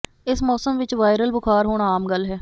ਇਸ ਮੌਸਮ ਵਿਚ ਵਾਇਰਲ ਬੁਖਾਰ ਹੋਣਾ ਆਮ ਗੱਲ ਹੈ